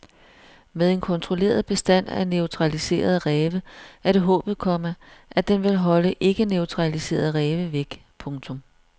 Med en kontrolleret bestand af neutraliserede ræve er det håbet, komma at den vil holde ikkeneutraliserede ræve væk. punktum